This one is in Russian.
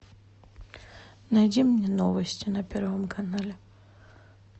найди мне новости на первом канале